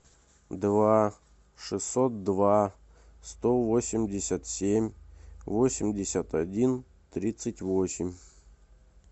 два шестьсот два сто восемьдесят семь восемьдесят один тридцать восемь